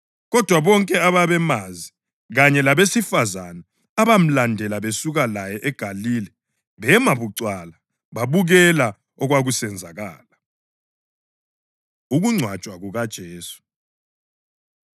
Kodwa bonke ababemazi, kanye labesifazane abamlandela besuka laye eGalile, bema bucwala babukela okwakusenzakala. Ukungcwatshwa KukaJesu